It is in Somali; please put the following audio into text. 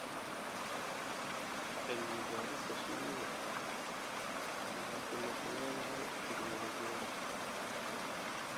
Cilmi-baarista shinnidu waxay ku lug leedahay tignoolajiyada